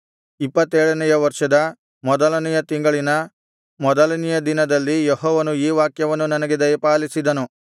ಇಪ್ಪತ್ತೇಳನೆಯ ವರ್ಷದ ಮೊದಲನೆಯ ತಿಂಗಳಿನ ಮೊದಲನೆಯ ದಿನದಲ್ಲಿ ಯೆಹೋವನು ಈ ವಾಕ್ಯವನ್ನು ನನಗೆ ದಯಪಾಲಿಸಿದನು